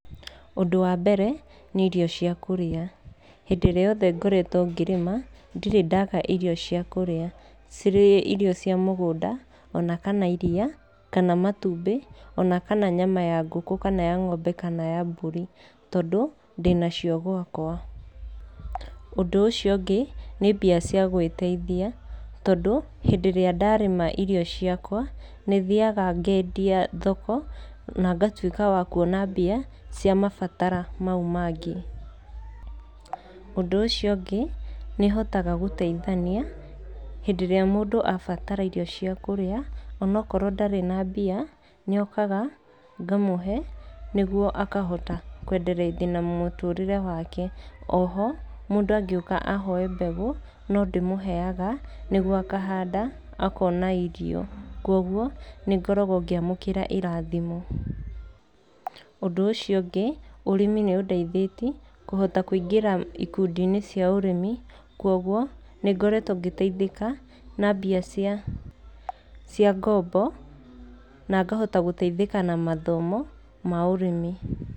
Ũndũ wa mbere nĩ irio cia kũrĩa, hĩndĩ ĩrĩa yothe ngoretwo ngĩrĩma, ndirĩ ndaga irio cia kũrĩa. Cirĩ irio cia mũgũnda ona kana iria, kana matumbĩ ona kana nyama ya ngũkũ kana ya ng'ombe kana ya mbũri, tondũ ndĩnacio gwakwa. Ũndũ ũcio ũngĩ nĩ mbia cia gwĩteithia, tondũ hĩndĩ ĩrĩa ndarĩma icio ciakwa, nĩthiaga ngendia thoko na ngatuĩka wa kuona mbia cia mabatara mau mangĩ. Ũndũ ũcio ũngĩ, nĩhotaga gũteithania hĩndĩ ĩrĩa mũndũ abatara irio cia kũrĩa, onokorwo ndarĩ na mbia nĩokaga ngamũhe nĩguo akahota kwendereithia na mũtũrĩre wake. Oho, mũndũ angĩũka ahoe mbegũ no ndĩmũheaga nĩguo akahanda akona irio, kuoguo nĩngoragwo ngĩamũkĩra irathimo. Ũndũ ũcio ũngĩ, ũrĩmi nĩũndeithĩtie kũhota kũingĩra ikundi-inĩ cia ũrĩmi kuoguo nĩngoretwo ngĩteithĩka na mbia cia cia ngombo na ngahota gũteithĩka na mathomo ma ũrĩmi.